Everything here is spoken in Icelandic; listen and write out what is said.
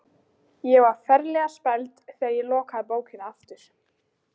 Ég var ferlega spæld þegar ég lokaði bókinni aftur.